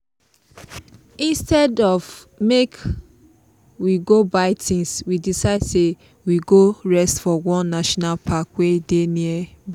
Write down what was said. instead of make we go buy things we decide say we go rest for one national park wey dey nearby.